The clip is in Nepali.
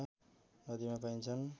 नदीमा पाइन्छन्